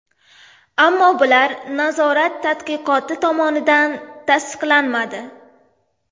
Ammo bular nazorat tadqiqoti tomonidan tasdiqlanmadi.